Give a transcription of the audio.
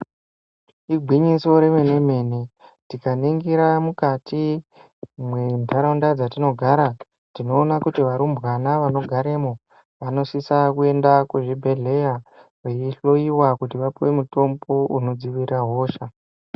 Igwinyiso remene mene tikaningisa mukati mwentaraunda dzatinogara tinoona kuti varumbwana vanogaremwo vanosisa kuenda kuzvibhehleya veihloyiwa kuti vapuwe mutombo unodzivirira hosha.